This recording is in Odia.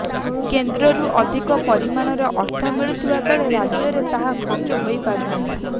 କେନ୍ଦ୍ରରୁ ଅଧିକ ପରିମାଣର ଅର୍ଥ ମିଳୁଥିବା ବେଳେ ରାଜ୍ୟରେ ତାହା ଖର୍ଚ୍ଚ ହୋଇପାରୁନାହିଁ